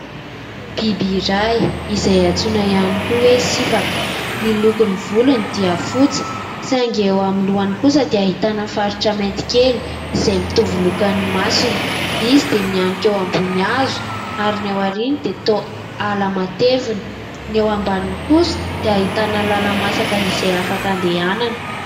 Biby iray izay antsoina ihany koa hoe sifaka. Ny lokon'ny volony dia fotsy saingy eo amin'ny lohany kosa dia ahitana faritra mainty kely izay mitovy loko amin'ny masony. Izy dia mihanika eo ambony hazo, ary ny aoriany dia toa ala matevina.